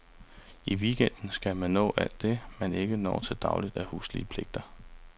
I weekenden skal man nå alt det, man ikke når til daglig af huslige pligter.